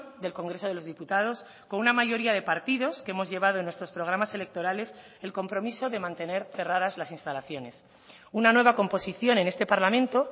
del congreso de los diputados con una mayoría de partidos que hemos llevado en nuestros programas electorales el compromiso de mantener cerradas las instalaciones una nueva composición en este parlamento